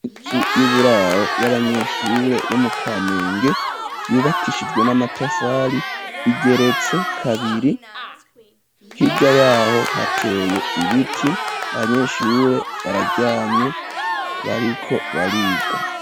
Inzu y'uburaro y'abanyeshure, bo mu kamenge ,yubakishijwe n'amatafali ,igeretse kabiri, hirya yaho hateye ibiti ,Abanyeshure bararyamye ,bariko bariga.